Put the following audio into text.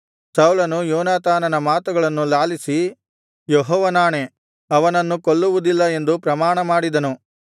ಸೌಲನು ಯೋನಾತಾನನ ಮಾತುಗಳನ್ನು ಲಾಲಿಸಿ ಯೆಹೋವನಾಣೆ ಅವನನ್ನು ಕೊಲ್ಲುವುದಿಲ್ಲ ಎಂದು ಪ್ರಮಾಣಮಾಡಿದನು